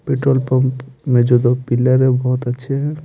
Petrol pump मे जो दो पिलर है बहुत अच्छे हैं।